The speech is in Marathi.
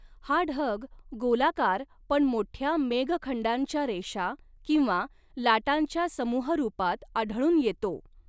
हा ढग गोलाकार पण मोठ्या मेघखंडांच्या रेषा किंवा लाटांच्या समूहरूपात आढळून येतो.